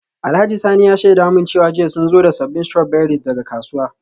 Alhaji Sanni ya shaida min cewa jiya sun zo da sabbin strawberries daga kasuwa.